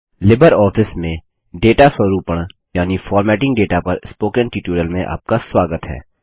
Libre office में data स्वरूपण यानि फॉर्मेटिंग डेटा पर स्पोकन ट्यूटोरियल में आपका स्वागत है